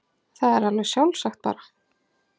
Það er alveg sjálfsagt bara.